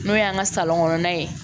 N'o y'an ka kɔnɔna ye